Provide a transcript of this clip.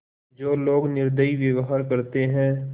जो लोग निर्दयी व्यवहार करते हैं